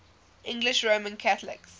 english roman catholics